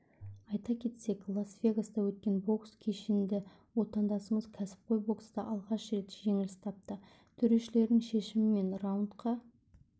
айта кетсек лас-вегаста өткен бокс кешінде отандасымыз кәсіпқой бокста алғаш рет жеңіліс тапты төрешілердің шешімімен раундқа